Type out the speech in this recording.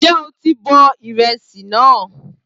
Ǹjẹ́ o ti bọ ìrẹsì náà?